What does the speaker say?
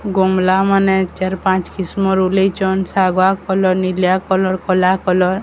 ମଲାମାନେ ଚାର୍ ପାଞ୍ଚ କିସମର୍ ଓଲେଇଚନ୍ ଶାଗୁଆ କଲର୍ ନିଲିଆ କଲର୍ କଲା କଲର୍ ।